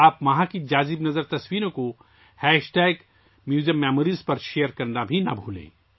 وہاں کی دلکش تصاویر '' میوزیم میموریز '' پر شیئر کرنا نہ بھولیں